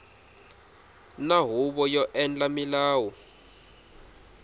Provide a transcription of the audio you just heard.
na huvo yo endla milawu